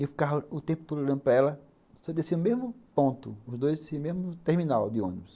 E eu ficava o tempo todo olhando para ela, só descia o mesmo ponto, os dois desciam no mesmo terminal de ônibus.